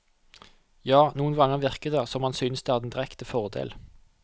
Ja, noen ganger virker det som om han synes det er en direkte fordel.